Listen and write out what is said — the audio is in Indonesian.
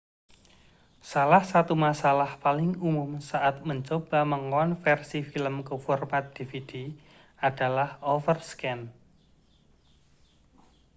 salah satu masalah paling umum saat mencoba mengonversi film ke format dvd adalah overscan